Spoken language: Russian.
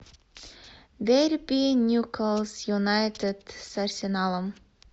дерби ньюкасл юнайтед с арсеналом